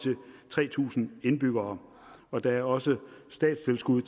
til tre tusind indbyggere og der er også statstilskud